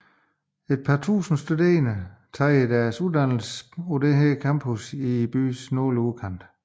Et par tusinde studerende tager deres uddannelser på dette campus i byens nordlige udkant